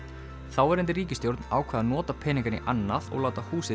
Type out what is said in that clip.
þáverandi ríkisstjórn ákvað að nota peningana í annað og láta húsið